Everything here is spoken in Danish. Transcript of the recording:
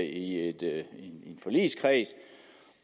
i en forligskreds